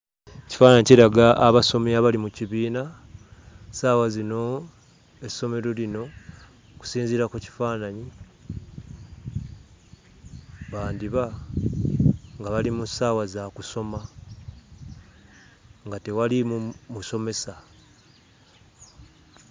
Ekifaananyi kiraga abasomi abali mu kibiina. Ssaawa zino essomero lino okusinziira ku kifaananyi, bandiba nga bali mu ssaawa za kusoma, nga tewaliimu musomesa.